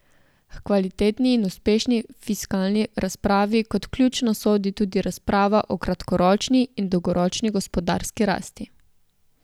H kvalitetni in uspešni fiskalni razpravi kot ključna sodi tudi razprava o kratkoročni in dolgoročni gospodarski rasti.